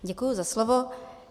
Děkuji za slovo.